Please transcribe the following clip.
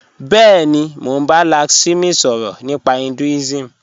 Bẹẹ̀ni, mọ̀ n bá Lakshmi sọrọ̀ nípa Hinduism